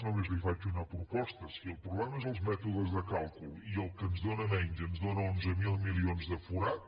només li faig una proposta si el problema són els mètodes de càlcul i el que ens dóna menys ens dóna onze mil milions de forat